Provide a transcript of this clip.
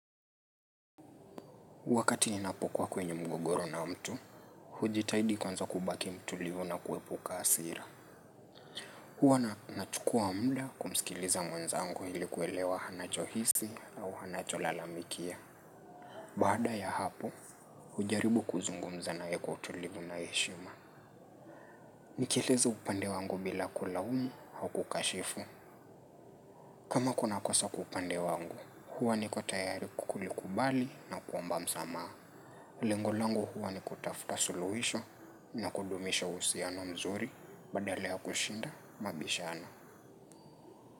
Wakati ninapokuwa kwenye mgogoro na mtu, hujitahidi kwanza kubaki mtulivu na kuepuka hasira. Huwa nachukua muda kumsikiliza mwenzangu ili kuelewa anachohisi au anacholalamikia. Baada ya hapo, hujaribu kuzungumza naye kwa utulivu na heshima. Nikieleza upande wangu bila kulaumu au kukashifu. Kama kuna kosa kwa upande wangu, huwa niko tayari kulikubali na kuomba msamaha. Lengo langu huwa ni kutafuta suluhisho na kudumisha uhusiano mzuri badala ya kushinda mabishano.